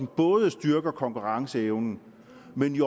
både styrker konkurrenceevnen